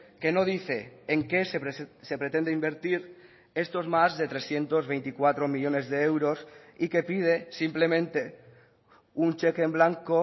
que no dice en qué se pretende invertir estos más de trescientos veinticuatro millónes de euros y que pide simplemente un cheque en blanco